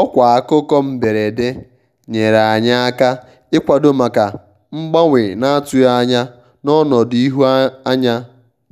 ọkwa akụkọ mberede nyere anyị aka ịkwado maka mgbanwe na-atụghị anya n'ọnọdụ ihu anya